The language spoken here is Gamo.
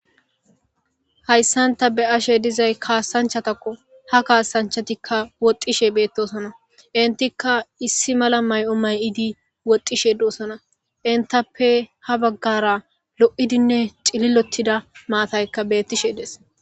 hayssanta be'ashe dizay kaasanchatakko ha kaasanchatikka woxxishe beettosona intikka issi mala may7o mayiidi woxxishe doosona intappe ha baggara lo7idinne xililottida maatayka bettishe des